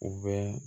U bɛ